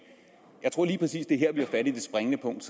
jeg tror lige præcis at det er her vi har fat i det springende punkt